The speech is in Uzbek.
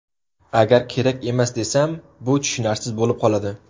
Agar kerak emas desam, bu tushunarsiz bo‘lib qoladi.